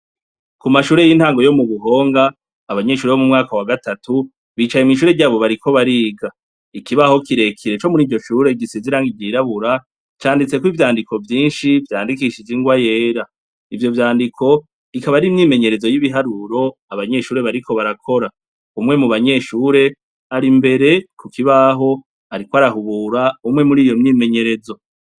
Kumashure y' intango yo mu buhong' abanyeshure bo mu mwaka wa gatatu bicaye mw' ishure ryabo bariko bariga, ikibaho kirekire co muriryo shure gisiz' irangi ryirabura canditsek' ivyandiko vyinshi vyandikishij' ingwa yera, ivyo vyandik' akab' arimyimenyerezo y' ibiharur' abanyeshure bariko barakora, umwe mubanyeshur' arimbere kukibah' arik' arahubur' imwe muriyo myimenyerezo.